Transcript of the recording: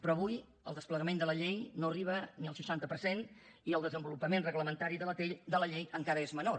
però avui el desplegament de la llei no arriba ni al seixanta per cent i el desenvolupament reglamentari de la llei encara és menor